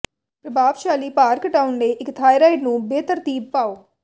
ਪ੍ਰਭਾਵਸ਼ਾਲੀ ਭਾਰ ਘਟਾਉਣ ਲਈ ਇੱਕ ਥਾਇਰਾਇਡ ਨੂੰ ਬੇਤਰਤੀਬ ਪਾਓ